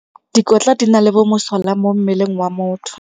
Dikotla di na le bomosola mo mmeleng wa motho.